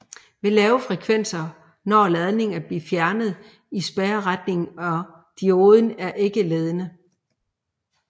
Ved lave frekvenser når ladningen at blive fjernet i spærreretningen og dioden er ikke ledende